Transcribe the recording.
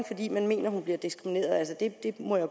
fordi man mener hun bliver diskrimineret det må jeg